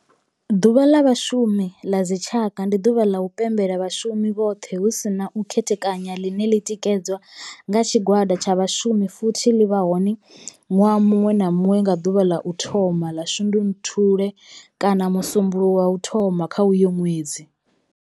Ḓuvha la vhashumi la dzi tshaka, ndi duvha la u pembela vhashumi vhothe hu si na u khethekanya ḽine ḽi tikedzwa nga tshigwada tsha vhashumi futhi ḽi vha hone nwaha munwe na munwe nga duvha la u thoma 1 ḽa Shundunthule kana musumbulowo wa u thoma kha uyo nwedzi.